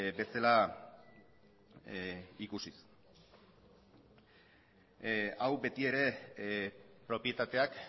bezala ikusiz hau beti ere propietateak